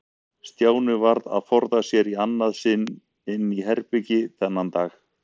Stjáni varð að forða sér í annað sinn inn í herbergi þennan dag.